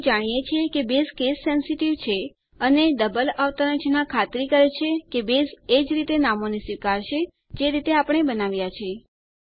આપણે જાણીએ છીએ કે બેઝ કેસ સેન્સીટીવ છે અને ડબલ અવતરણ ચિન્હ ખાતરી કરે છે કે બેઝ એજ રીતે નામોને સ્વીકારશે જે રીતે આપણે બનાવ્યાં છે